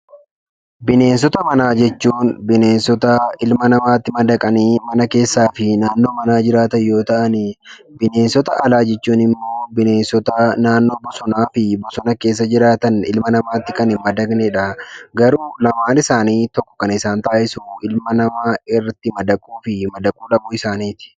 Bineensota manaa jechuun bineensota ilma namaatti madaqanii mana keessaa fi naannoo manaa jiraatan yoo ta'an, bineensota alaa jechuun immoo bineensota naannoo bosonaa fi bosona keessa jiraatan; ilma namaattin kan hin madaqnedha. Garuu lamaan isaanii tokko kan isaan taasisu ilma namaa irrati madaquu fi madaquu dhabuu isaaniiti.